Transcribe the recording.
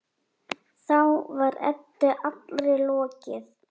Þá var Eddu allri lokið.